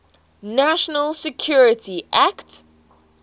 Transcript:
national security act